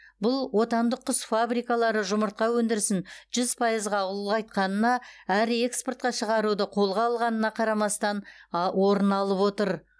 бұл отандық құс фабрикалары жұмыртқа өндірісін жүз пайызға ұлғайтқанына әрі экспортқа шығаруды қолға алғанына қарамастан а орын алып отыр